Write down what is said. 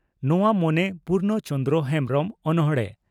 ᱱᱚᱣᱟ ᱢᱚᱱᱮ ᱯᱩᱨᱱᱚ ᱪᱚᱱᱫᱽᱨᱚ ᱦᱮᱢᱵᱽᱨᱚᱢ (ᱚᱱᱚᱬᱦᱮ)